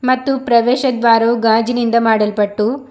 ಮತ್ತು ಪ್ರವೇಶ ದ್ವಾರವು ಗಾಜಿನಿಂದ ಮಾಡಲ್ಪಟ್ಟು.